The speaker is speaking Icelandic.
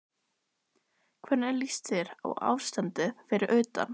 Andri Ólafsson: Hvernig líst þér á ástandið fyrir utan?